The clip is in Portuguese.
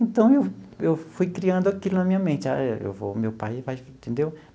Então, eu eu fui criando aquilo na minha mente, ah eu vou, meu pai vai, entendeu?